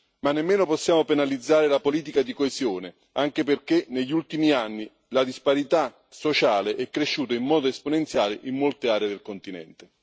Ma nemmeno possiamo penalizzare la politica di coesione, anche perché negli ultimi anni la disparità sociale è cresciuta in modo esponenziale in molte aree del continente.